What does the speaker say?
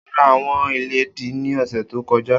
O ra awọn iledìí ni ọsẹ to kọja.